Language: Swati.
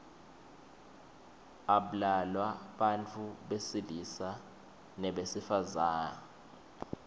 ablalwa bantfu besilisa nebesifazang